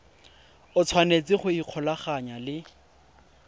o tshwanetse go ikgolaganya le